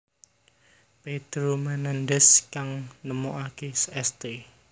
Pedro Menendez kang nemokake St